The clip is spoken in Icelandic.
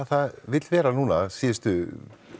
það vill vera núna að síðustu